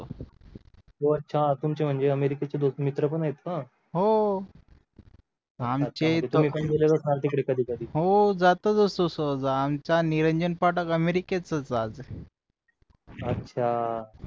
हो अच्छा तुमचे म्हणजे अमेरिकाचे मित्र पण आहे का आमचे हो जातोच असतो सहज आमचा निरंजन पाठक अमेरिकातच राहते